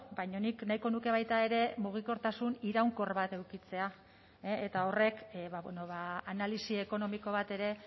baina nik nahiko nuke baita ere mugikortasun iraunkor bat edukitzea eta horrek analisi ekonomiko bat ere